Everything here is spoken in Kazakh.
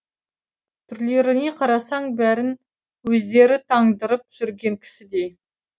түрлеріне қарасаң бәрін өздері тандырып жүрген кісідей